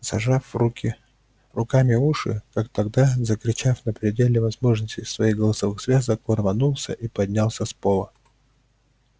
зажав руки руками уши как тогда закричав на пределе возможностей своих голосовых связок он рванулся и поднялся с пола